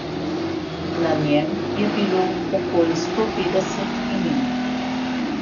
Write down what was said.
Na njem je bilo okoli sto petdeset imen.